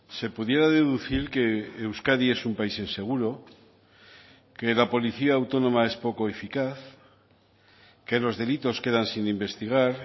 se pudiera deducir que euskadi es un país inseguro que la policía autónoma es poco eficaz que los delitos quedan sin investigar